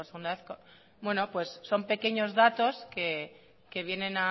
son pequeños datos que vienen